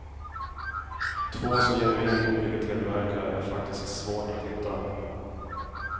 Två så genuint olika tillverkare är faktiskt svårt att hitta.